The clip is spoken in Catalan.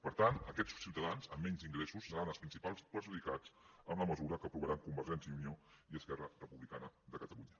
per tant aquests ciutadans amb menys ingressos seran els principals perjudicats amb la mesura que aprovaran convergència i unió i esquerra republicana de catalunya